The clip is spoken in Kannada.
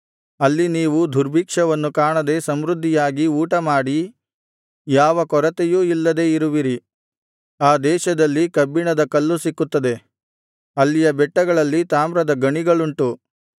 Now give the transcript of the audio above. ಅಲ್ಲಿ ನೀವು ದುರ್ಭಿಕ್ಷವನ್ನು ಕಾಣದೆ ಸಮೃದ್ಧಿಯಾಗಿ ಊಟಮಾಡಿ ಯಾವ ಕೊರತೆಯೂ ಇಲ್ಲದೆ ಇರುವಿರಿ ಆ ದೇಶದಲ್ಲಿ ಕಬ್ಬಿಣದ ಕಲ್ಲು ಸಿಕ್ಕುತ್ತದೆ ಅಲ್ಲಿಯ ಬೆಟ್ಟಗಳಲ್ಲಿ ತಾಮ್ರದ ಗಣಿಗಳುಂಟು